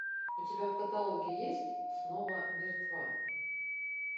у тебя в каталоге есть снова мертва